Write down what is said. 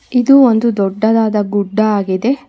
ಇದು ಒಂದು ದೊಡ್ಡದಾದ ಗುಡ್ಡ ಆಗಿದೆ.